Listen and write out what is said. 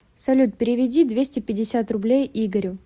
салют переведи двести пятьдесят рублей игорю